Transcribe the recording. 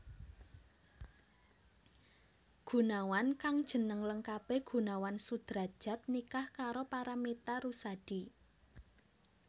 Gunawan kang jeneng lengkapé Gunawan Sudradjat nikah karo Paramitha Rusady